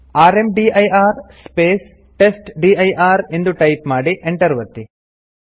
rmdir space testdir ಎಂದು type ಮಾಡಿ Enter ಒತ್ತಿ